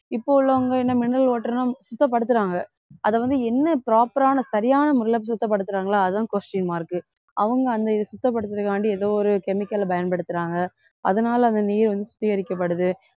இப்போ உள்ளவங்க என்ன mineral water ன்னா சுத்தப்படுத்துறாங்க அதை வந்து என்ன proper ஆன சரியான முறையிலே சுத்தப்படுத்துறாங்களோ அதான் question mark அவங்க அந்த இதை சுத்தப்படுத்துறதுக்காண்டி ஏதோ ஒரு chemical ஐ பயன்படுத்துறாங்க அதனாலே அந்த நீர் வந்து சுத்திகரிக்கப்படுது